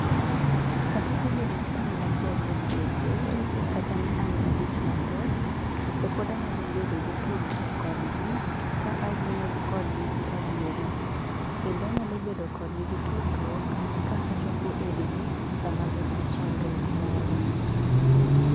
Kata obedo ni an mabor gi osiepe, kata ni an gi dich mathoth, to pod anyalo bedo gi tudruok kodgi ka awuoyo kodgi gi adieri. Kendo anyalo bedo kodgi gi tudruok ka achopo ir gi sama gin gi chandruok moro.